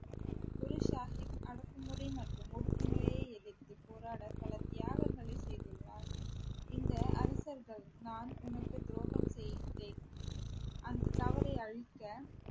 குரு சாஹிப் அடக்குமுறை மற்றும் ஒடுக்குமுறையை எதிர்த்துப் போராட பல தியாகங்களை செய்துள்ளார் இந்த அரசர்கள் நான் உனக்கு துரோகம் செய்தேன் அந்த தவறை அழிக்க